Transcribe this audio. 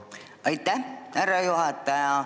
Aitäh, härra juhataja!